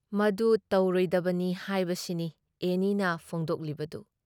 ꯃꯗꯨ ꯇꯧꯔꯣꯏꯗꯕꯅꯤ ꯍꯥꯏꯕꯁꯤꯅꯤ ꯑꯦꯅꯤꯅ ꯐꯣꯡꯗꯣꯛꯂꯤꯕꯗꯨ ꯫